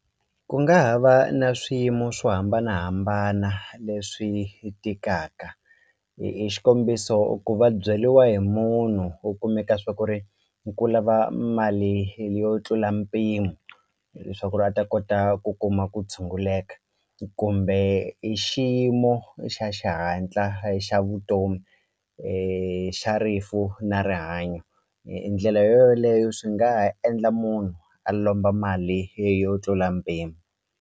Ku nga ha va na swiyimo swo hambanahambana leswi tikaka hi xikombiso ku va byeliwa hi munhu u kumeka swa ku ri ku lava mali yo tlula mpimo hileswaku ri a ta kota ku kuma ku tshunguleka kumbe i xiyimo xa xihatla xa vutomi xa rifu na rihanyo ndlela yo yoleyo swi nga ha endla munhu a lomba mali yo tlula mpimo.